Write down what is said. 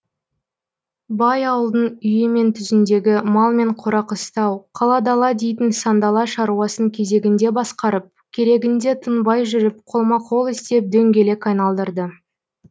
бай ауылдың үйі мен түзіндегі мал мен қора қыстау қала дала дейтін сандала шаруасын кезегінде басқарып керегінде тынбай жүріп қолма қол істеп дөңгелек айналдырды